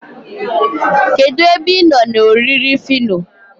kedu ebe ịnọ na oriri phyno?